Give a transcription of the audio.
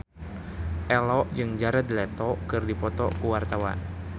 Ello jeung Jared Leto keur dipoto ku wartawan